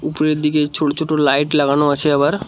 উপরের দিকে ছোট ছোট লাইট লাগানো আছে আবার ।